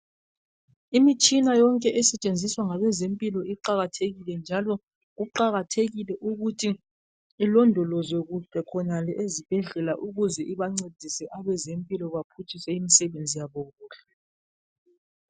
Imitshina yonke esetshenziswa ngabezempilo iqakathekile njalo kuqakathekile ukuthi ilondolozwe kuhle khonale ezibhedlela ukuze ibancedise abezempilo baphutshise imisebenzi yabo kuhle.